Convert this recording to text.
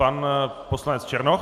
Pan poslanec Černoch.